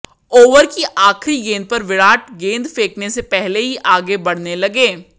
over की आखिरी गेंद पर विराट गेंद फेंकने से पहले ही आगे बढ़ने लगे